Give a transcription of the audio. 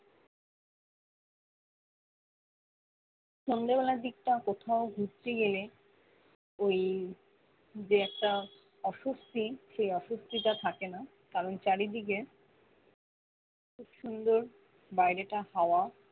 সন্ধ্যে বেলার দিকটা কোথাও ঘুরতে গেলে ওই যে একটা অস্বস্তি সেই অস্বস্তি টা থাকে না কারণ চারিদিকে খুব সুন্দর বাইরেটা হাওয়া